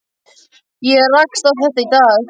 Ég rakst á þetta í dag.